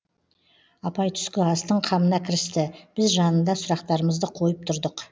апай түскі астың қамына кірісті біз жанында сұрақтарымызды қойып тұрдық